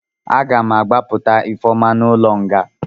A ga m agbapụta Ifeoma n'ụlọ nga.